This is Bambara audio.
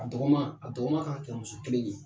A dɔgɔma a dɔgɔma ka kɛ muso kelen ye